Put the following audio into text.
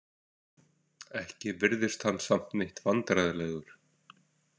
Ekki virðist hann samt neitt vandræðalegur.